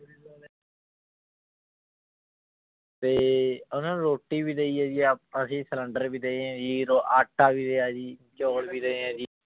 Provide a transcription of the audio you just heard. ਤੇ ਉਹਨਾਂ ਨੂੰ ਰੋਟੀ ਵੀ ਦੇਈ ਜੀ ਆ ਅਸੀਂ ਸਿਲੈਂਡਰ ਵੀ ਦਏਂ ਹੈ ਜੀ ਰੋ ਆਟਾ ਵੀ ਦਿਆ ਜੀ, ਚੋਲ ਵੀ ਦਏ ਹੈ ਜੀ।